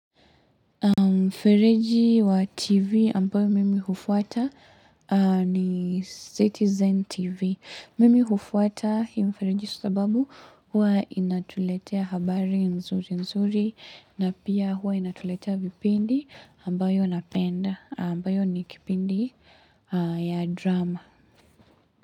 Mfereji wa TV ambayo mimi hufuata ni Citizen TV. Mimi hufuata hii mfereji sababu huwa inatuletea habari nzuri nzuri na pia huwa inatuletea vipindi ambayo napenda ambayo ni kipindi ya drama.